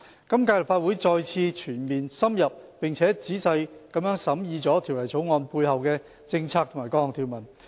今屆立法會再次全面、深入並仔細地審議了《條例草案》背後的政策及各項條文。